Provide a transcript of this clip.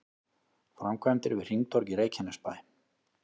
Framkvæmdir við hringtorg í Reykjanesbæ